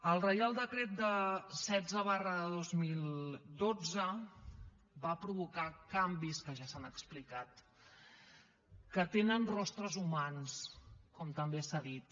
el reial decret setze dos mil dotze va provocar canvis que ja s’han explicat que tenen rostres humans com també s’ha dit